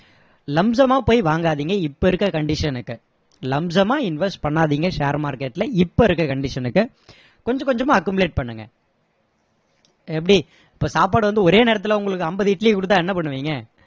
lumpsum ஆ போய் வாங்காதீங்க இப்போ இருக்க condition க்கு lumpsum மா invest பண்ணாதீங்க share market ல இப்போ இருக்க condition க்கு கொஞ்ச கொஞ்சமா accumulate பண்ணுங்க எப்படி இப்போ சாப்பாடு வந்து ஒரே நேரத்துல உங்களுக்கு ஐம்பது இட்லியை கொடுத்தா என்ன பண்ணுவீங்க